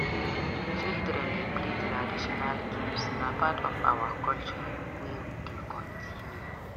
Children dey play traditional games; na part of our culture wey dey continue.